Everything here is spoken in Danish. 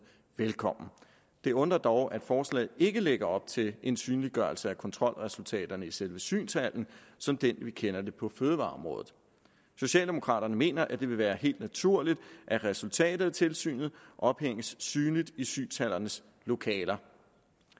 velkommen det undrer dog at forslaget ikke lægger op til en synliggørelse af kontrolresultaterne i selve synshallen som den vi kender på fødevareområdet socialdemokraterne mener at det vil være helt naturligt at resultatet af tilsynet ophænges synligt i synshallernes lokaler